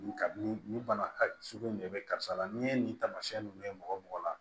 Nin ka ni nin bana sugu in de bɛ karisa la n'i ye nin taamasiyɛn nunnu ye mɔgɔ mɔgɔ la